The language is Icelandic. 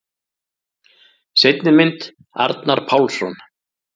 Seinni mynd: Arnar Pálsson.